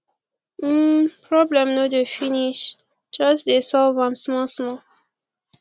um problem no dey finish jus dey solve am small small